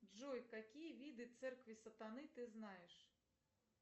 джой какие виды церкви сатаны ты знаешь